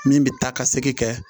Min bɛ taa ka segin kɛ